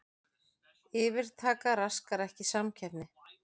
Yfirtaka raskar ekki samkeppni